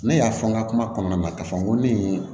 Ne y'a fɔ n ka kuma kɔnɔna na ka fɔ n ko ne ye